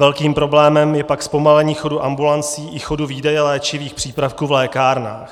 Velkým problémem je pak zpomalení chodu ambulancí i chodu výdeje léčivých přípravků v lékárnách.